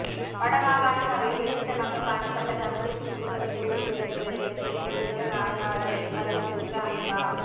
வட மாகாண சபையில் வெற்றிடமாக காணப்பட்ட தமிழ் தேசிய கூட்டமைப்பு உறுப்பினர்களின் இடத்திற்க்கு தேர்தல் ஆனையாளரின் அறிவுறுத்தலுக்கு அமைவா